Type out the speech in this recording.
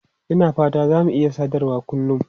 E, Ina fata za mu iya sadarwa kullun.